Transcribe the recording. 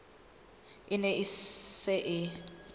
e ne e se e